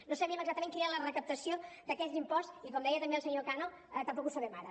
no sabíem exactament quina era la recaptació d’aquest impost i com deia també el senyor cano tampoc ho sabem ara